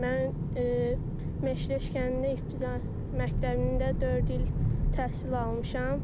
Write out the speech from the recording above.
Mən Meşləş kəndində ibtidai məktəbində dörd il təhsil almışam.